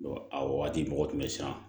a wagati mɔgɔ tun bɛ siran